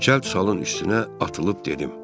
Cəld salın üstünə atılıb dedim: